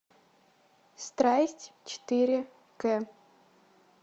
страсть четыре к